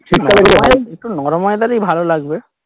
একটু নরম weather এ গেলেই ভালো লাগবে